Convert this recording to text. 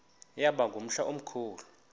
yaba ngumhla omkhulu